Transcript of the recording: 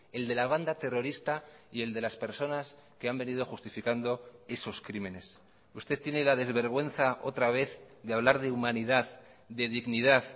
el de la banda terrorista y el de las personas que han venido justificando esos crímenes usted tiene la desvergüenza otra vez de hablar de humanidad de dignidad